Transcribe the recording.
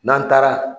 N'an taara